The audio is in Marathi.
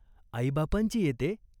आईबापांची येते?